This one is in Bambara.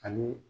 Ani